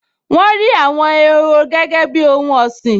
Wọ́n rí àwọn ehoro gẹ́gẹ́ bíi ohun ọ̀sìn